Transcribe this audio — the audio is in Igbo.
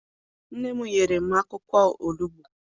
Nne m nyere m akwụkwọ onugbu.